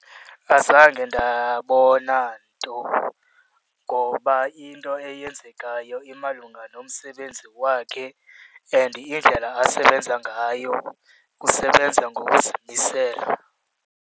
Azange ndabona nto ngoba into eyenzekayo imalunga nomsebenzi wakhe and indlela asebenza ngayo usebenza ngokuzimisela.